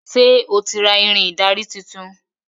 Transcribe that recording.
Ṣe o tí ra Irin ìdarí títún?